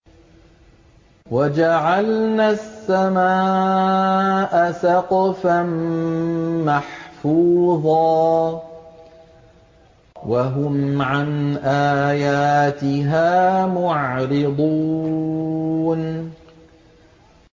وَجَعَلْنَا السَّمَاءَ سَقْفًا مَّحْفُوظًا ۖ وَهُمْ عَنْ آيَاتِهَا مُعْرِضُونَ